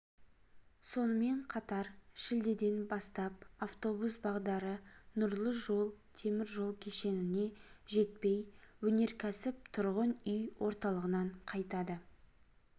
сонымен қатар шілдеден бастап автобус бағдары нұрлы жол теміржол кешеніне жетпей өнеркәсіп тұрғын үй орталығынан қайтады